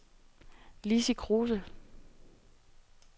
Lizzi Kruse